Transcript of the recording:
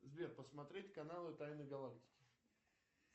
сбер посмотреть каналы тайны галактики